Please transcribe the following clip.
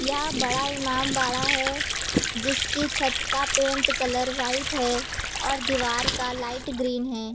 यह बड़ा इमामबाड़ा है जिसकी छत का पेंट कलर व्हाइट है और दीवार का लाइट ग्रीन है।